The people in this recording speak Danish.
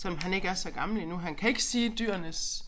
Selvom han ikke er så gammel endnu han kan ikke sige dyrenes